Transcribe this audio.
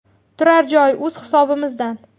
Turar joy o‘z hisobimizdan.